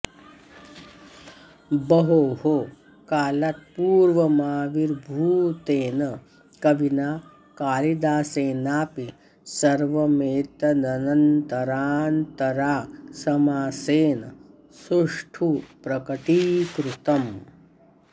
बहोः कालात्पूर्वमाविर्भूतेन कविना कालिदासेनापि सर्वमेतदन्तराऽन्तरा समासेन सुष्ठु प्रकटीकृतम्